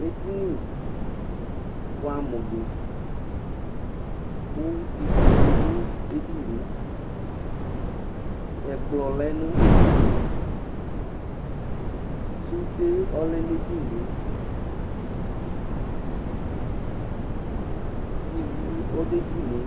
ɛɗiṅi bũɑmuɗi ku ĩkpoku ɗũɛɗiɲɛ ɛkplɔ lɛɲɛɗiɲiɛ sωɗé ɔlɛɲɛɗiɲiɛ ĩvũ ɔɗụǝɗiɲiɛ